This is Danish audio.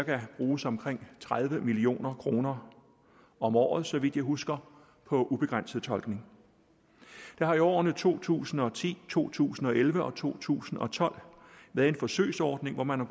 der bruges omkring tredive million kroner om året så vidt jeg husker på ubegrænset tolkning der har i årene to tusind og ti to tusind og elleve og to tusind og tolv været en forsøgsordning hvor man har